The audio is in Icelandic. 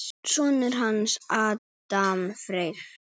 Sonur hans, Adam Freyr.